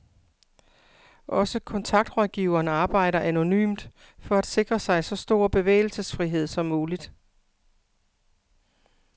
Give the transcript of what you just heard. Også kontaktrådgiveren arbejder anonymt for at sikre sig så stor bevægelsesfrihed som muligt.